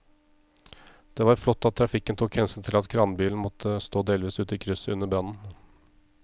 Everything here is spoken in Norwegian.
Det var flott at trafikken tok hensyn til at kranbilen måtte stå delvis ute i krysset under brannen.